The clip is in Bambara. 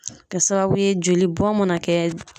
Kɛ sababu ye joli bɔn mana kɛ